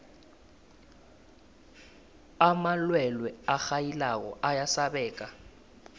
amalwelwe arhayilako ayasabeka